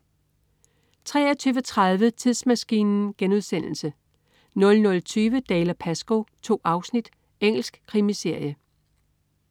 23.30 Tidsmaskinen* 00.20 Dalziel & Pascoe. 2 afsnit. Engelsk krimiserie